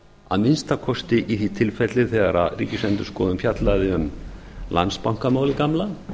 að minnsta kosti í því tilfelli þegar ríkisendurskoðun fjallaði um landsbankamálið gamla